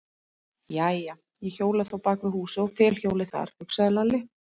Jæja, ég hjóla þá bak við húsið og fel hjólið þar, hugsaði Lalli.